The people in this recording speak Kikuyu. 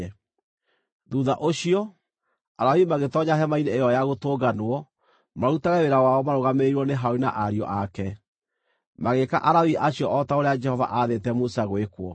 Thuutha ũcio, Alawii magĩtoonya Hema-inĩ-ĩyo-ya-Gũtũnganwo marutage wĩra wao marũgamĩrĩirwo nĩ Harũni na ariũ ake. Magĩĩka Alawii acio o ta ũrĩa Jehova aathĩte Musa gwĩkwo.